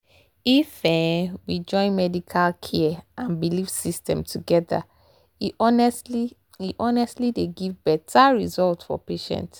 if um we join medical care and belief system together e honestly e honestly dey give better result for patient.